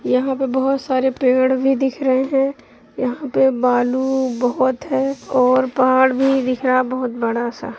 यहाँ पे बहोत सारे पेड़ भी दिख रहे हैं| यहाँ पे बालू बहुत है और पहाड़ भी दिख रहा बहुत बड़ा-सा।